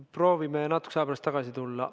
Proovime natukese aja pärast tagasi tulla.